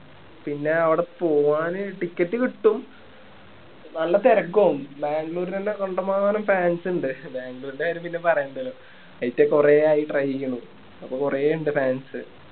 പിന്നെ അവിടെ പോവാന് ticket കിട്ടും നല്ല തിരക്കും ആവും ബാംഗ്ലൂർ തന്നെ കണ്ടമാനം fans ഇണ്ട് ബാംഗ്ലൂരിൻ്റെ കാര്യം പിന്നെ പറയേണ്ടല്ലോ കൊറേ ആയി try ചെയ്യണു അപ്പൊ കൊറേ ഇണ്ട് fans